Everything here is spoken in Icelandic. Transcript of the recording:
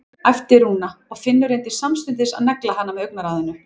æpti Rúna og Finnur reyndi samstundis að negla hana með augnaráðinu.